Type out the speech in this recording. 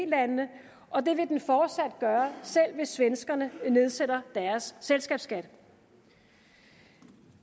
landene og det vil den fortsat gøre selv hvis svenskerne nedsætter deres selskabsskat